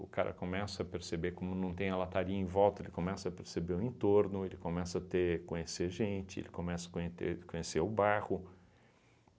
O cara começa a perceber, como não tem a lataria em volta, ele começa a perceber o entorno, ele começa a ter conhecer gente, ele começa a conheter conhecer o bairro.